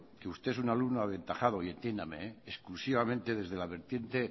que usted es un alumno aventajado y entiéndame exclusivamente desde la vertiente